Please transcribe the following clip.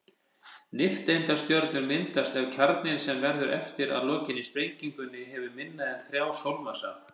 Nifteindastjörnur myndast ef kjarninn, sem verður eftir að lokinni sprengingunni, hefur minna en þrjá sólarmassa.